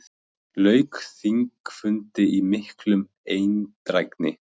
Lauk þingfundi í mikilli eindrægni.